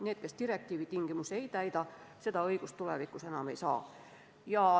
Need, kes direktiivi tingimusi ei täida, seda õigust tulevikus enam ei saa.